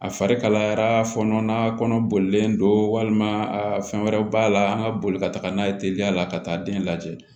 A farikayara fɔnɔ na kɔnɔ bolilen don walima a fɛn wɛrɛw b'a la an ka boli ka taa n'a ye teliya la ka taa den lajɛ